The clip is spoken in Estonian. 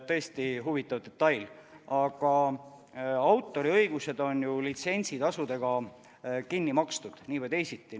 Tõesti huvitav detail, aga autoriõigused on litsentsitasudega kinni makstud nii või teisiti.